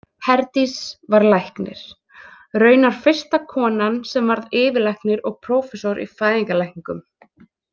Herdís var læknir, raunar fyrsta konan sem varð yfirlæknir og prófessor í fæðingarlækningum.